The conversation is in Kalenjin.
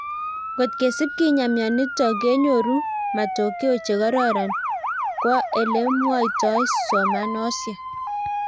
Kot kesip kinyaa myonitok kenyoru matokeo che kororon kow ele mwoitoi somanosiek